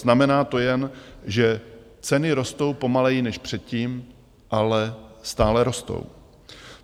Znamená to jen, že ceny rostou pomaleji než předtím, ale stále rostou.